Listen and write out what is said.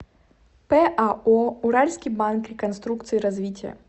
пао уральский банк реконструкции и развития